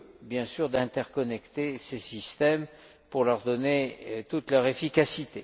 et, bien sûr, d'interconnecter ces systèmes pour leur donner toute leur efficacité.